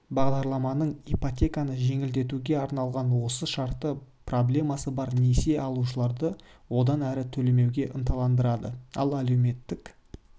бағдарламаның ипотеканы жеңілдетуге арналған осы шарты проблемасы бар несие алушыларды одан әрі төлемеуге ынталандырады ал әлеуметтік